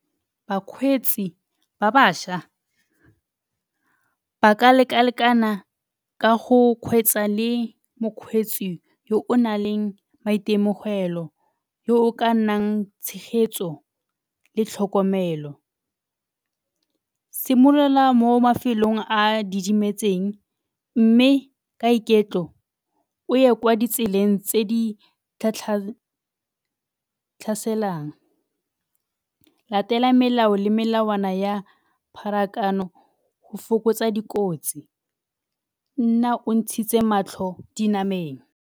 Bakgweetsi ba bašwa ba ka leka-lekana ka go kgweetsa le mokgweetsi yo o na leng maitemogelo, yo o ka nnang tshegetso le tlhokomelo. Simolola mo mafelong a a didimetseng mme ka iketlo o ye kwa ditseleng tse di tlhaselang. Latela melao le melawana ya pharakano go fokotsa dikotsi, nna o ntshitse matlho dinameng.